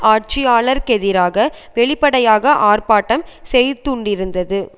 ஆட்சியாளருக்கெதிராக வெளிப்படையாக ஆர்ப்பாட்டம் செய்த்தூண்டியுள்ளது